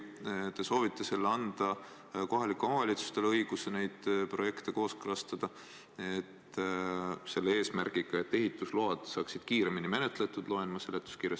Te soovite anda kohalikule omavalitsusele õiguse neid projekte kooskõlastada, ja seda eesmärgiga, et ehitusload saaksid kiiremini menetletud – ma loen seda seletuskirjast.